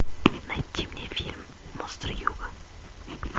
найти мне фильм монстры юга